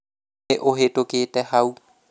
nĩ ũhĩtũkĩte hau